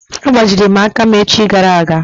A gbajiri m aka echi gara aga.